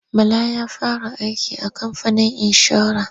Bala ya fara aiki a kamfanin inshora.